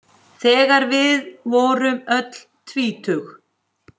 Þegar við vorum öll tvítug.